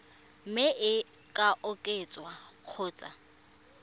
mme e ka oketswa kgotsa